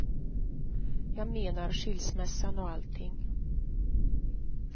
Jag menar, skilsmässan och allting.